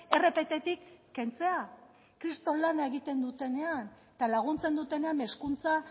rpt tik kentzea kriston lana egiten dutenean eta laguntzen dutenean hezkuntza